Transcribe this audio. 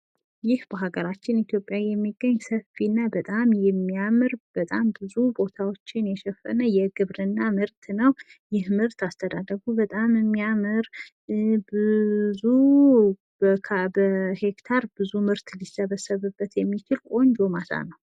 ይህ በሃገራችን ኢትዮጵያ የሚገኝ ሰፊና በጣም የሚያምር በጣም ብዙ ቦታዎችን የሸፈነ ቆንጆ ማሳ ነው።